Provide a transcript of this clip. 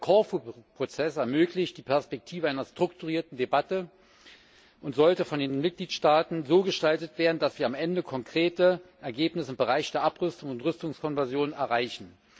Der Korfu Prozess ermöglicht die Perspektive einer strukturierten Debatte und sollte von den Mitgliedstaaten so gestaltet werden, dass sie am Ende konkrete Ergebnisse im Bereich der Abrüstung und Rüstungskonversion erreichen.